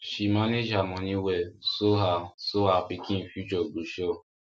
she manage her money well so her so her pikin future go sure